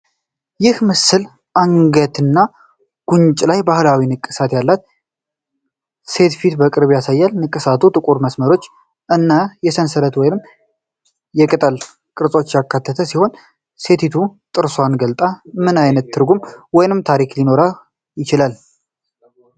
ይህ ምስል አንገትና ጉንጭ ላይ ባህላዊ ንቅሳት ያላት ሴት ፊት በቅርብ ያሳያል። ንቅሳቱ ጥቁር መስመሮችን እና የሰንሰለት ወይም የቅጠል ቅርጾችን ያካተተ ሲሆን፣ ሴቲቱ ጥርሷን ገልጣ ምን አይነት ትርጉም ወይም ታሪክ ሊኖረው ይችላል?